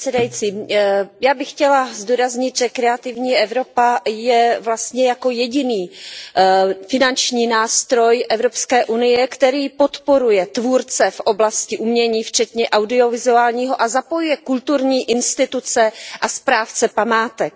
Pane předsedající, já bych chtěla zdůraznit, že Kreativní Evropa je vlastně jediný finanční nástroj Evropské unie, který podporuje tvůrce v oblasti umění včetně audiovizuálního a zapojuje kulturní instituce a správce památek.